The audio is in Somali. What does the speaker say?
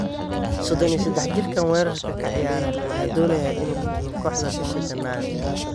Sodon iyo sedex jirkaan weerarka ka ciyaara ayaa doonaya inuu ka tago kooxda bisha Janaayo.